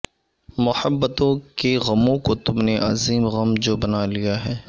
محبتوں کے غموں کو تم نے عظیم غم جو بنالیا ہے